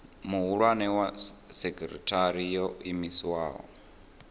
muhulwane wa sekithara yo iimisaho